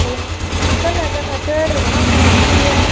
काला काला पेड़ घाना सारा दिख रेहा है।